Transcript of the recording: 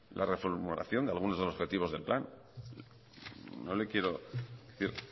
la reformulación de algunos de los objetivos del plan no le quiero decir